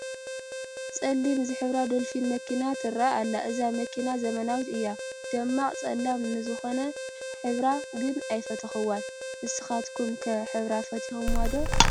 ፀሊም ዝሕብራ ዶልፊን መኪና ትርአ ኣላ፡፡ እዛ መኪና ዘመናዊት እያ፡፡ ደማቕ ፀሊም ንዝኾነ ሕብራ ግን ኣይፈተኹዎን፡፡ ንስኻትኩም ከ ሕብራ ትፈትዉዎ ዶ?